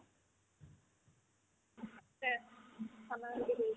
আছে আমাৰ ইহতে কৰিছে